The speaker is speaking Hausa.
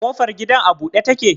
Kofar gidan a bude take?